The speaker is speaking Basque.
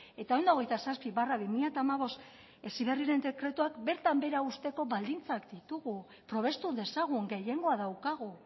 eta ehun eta hogeita zazpi barra bi mila hamabost heziberriren dekretuak bertan behera uzteko baldintzak ditugu probestu dezagun gehiengoa daukagu